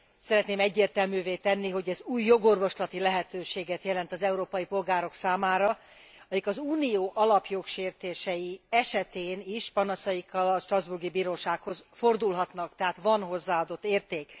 Szeretném egyértelművé tenni, hogy ez új jogorvoslati lehetőséget jelent az európai polgárok számára, akik az Unió alapjogsértései esetén is panaszaikkal a strasbourgi bírósághoz fordulhatnak, tehát van hozzáadott érték.